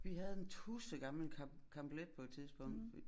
Vi havde en tudsgammel camp Camp-let på et tidspunkt